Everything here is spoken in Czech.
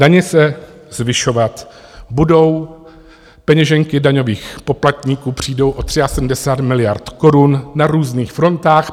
Daně se zvyšovat budou, peněženky daňových poplatníků přijdou o 73 miliard korun na různých frontách.